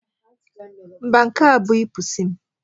Mba, nke a abụghị pusi m.